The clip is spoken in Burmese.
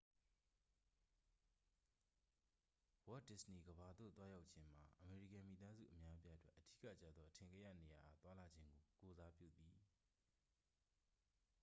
ဝေါ့ဒစ္စနေကမ္ဘာသို့ သွားရောက်ခြင်းမှာ အမေရိကန်မိသားစု အများအပြားအတွက် အဓိကကျသော အထင်ကရနေရာအား သွားလာခြင်းကို ကိုယ်စားပြုသည်